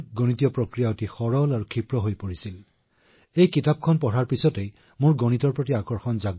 যেতিয়া মই সেয়া পঢ়িছিলো মই যথেষ্ট অনুপ্ৰেৰণা পাইছিলো আৰু তাৰ পিছত মই গণিতৰ প্ৰতি আগ্ৰহী হৈছিলো